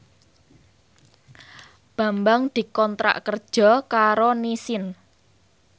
Bambang dikontrak kerja karo Nissin